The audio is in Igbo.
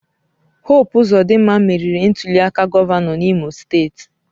Hope Ozodinma meriri ntuliaka gọvanọ n'Imo steeti.